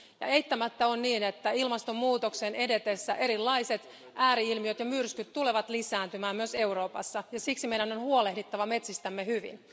Ja eittämättä on niin, että ilmastonmuutoksen edetessä erilaiset ääri ilmiöt ja myrskyt tulevat lisääntymään myös Euroopassa ja siksi meidän on huolehdittava metsistämme hyvin.